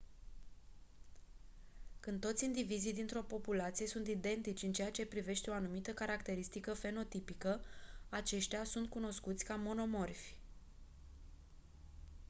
când toți indivizii dintr-o populație sunt identici în ceea ce privește o anumită caracteristică fenotipică aceștia sunt cunoscuți ca monomorfi